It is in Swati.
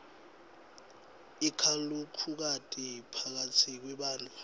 ikakhulukati phakatsi kwebantfu